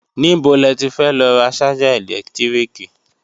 Níbo le ti fẹ́ lọ ra ṣájà ẹ̀lẹ́tíríkì?